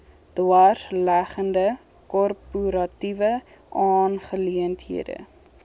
dwarsleggende korporatiewe aangeleenthede